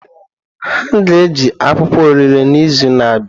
Ha ga-eji akwụkwọ orele n'izu na-abịa.